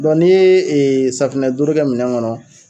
Dɔn n'i ye safunɛ dooro kɛ minɛn kɔnɔ